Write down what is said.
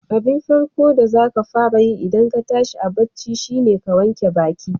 Abin farko da zaka fara yi idan ka tashi a bacci shine ka wanke baƙi.